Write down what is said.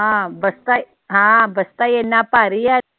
ਹਾਂ ਬਸਤਾ ਈ, ਹਾਂ ਬਸਤਾ ਈ ਏਨਾ ਭਾਰੀ ਏ